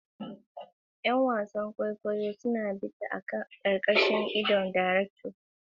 ’Yan wasan kwaikwayo suna bita a ƙarƙashin idon darektan, suna haɓaka kowane motsi da magana a hankali.